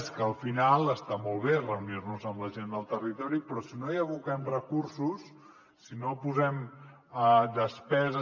és que al final està molt bé reunir nos amb la gent del territori però si no hi aboquem recursos si no posem despeses